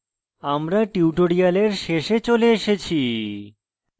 আমরা tutorial শেষে চলে এসেছি